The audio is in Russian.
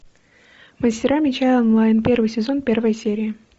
мастера меча онлайн первый сезон первая серия